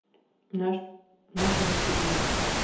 наше гостеприимство